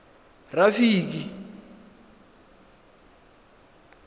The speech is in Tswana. rafiki